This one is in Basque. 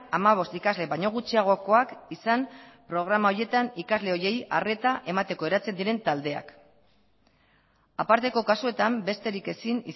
hamabost ikasle baino gutxiagokoak izan programa horietan ikasle horiei arreta emateko eratzen diren taldeak aparteko kasuetan besterik ezin